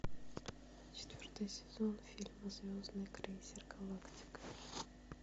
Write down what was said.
четвертый сезон фильма звездный крейсер галактика